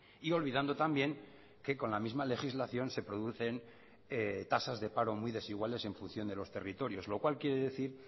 y olvidando también que con la misma legislación se producen tasas de paro muy desiguales en función de los territorios lo cual quiere decir